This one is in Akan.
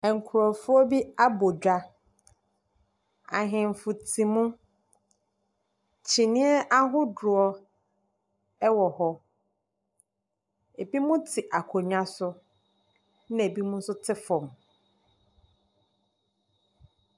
Nkurɔfoɔ bi abɔ dwa. Ahemfo te mu, kyineɛ ahodoɔ wɔ hɔ. Ɛbinom te akonnwa so. Na binom nso te fam.